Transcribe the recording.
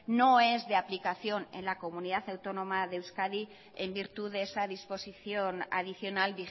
no es de aplicación en la comunidad autónoma de euskadi en virtud de esa disposición adicional